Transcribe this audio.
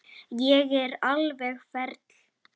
Ég er alveg ferleg.